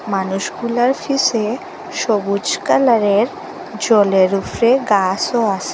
মানুষগুলার শেষে সবুজ কালারের জলের উফরে গাসও আসে।